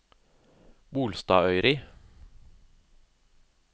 Bolstadøyri